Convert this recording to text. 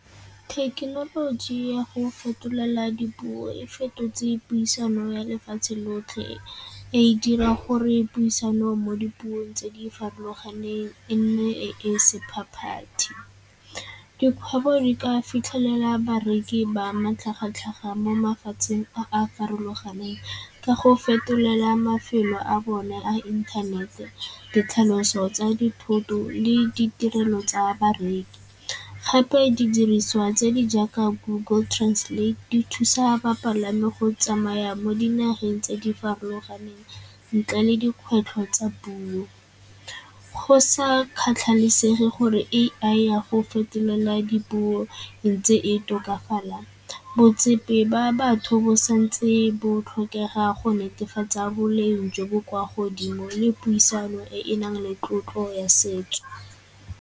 Thekenoloji ya go fetolela dipuo e fetotse puisano ya lefatshe lotlhe, e dira gore puisano mo dipuong tse di farologaneng e ne e se . Dikgwebo di ka fitlhelela bareki ba matlhagatlhaga mo mafatsheng a a farologaneng ka go fetolela mafelo a bone a inthanete, ditlhaloso tsa dithoto le ditirelo tsa bareki. Gape didiriswa tse di jaaka Google Translate di thusa bapalami go tsamaya mo dinageng tse di farologaneng ntle le dikgwetlho tsa puo. Go sa kgathalesege gore A_I ya go fetelela dipuo ntse e tokafala, ba batho bo santse bo tlhokega go netefatsa boleng jo bo kwa godimo le puisano e e nang le tlotlo ya setso.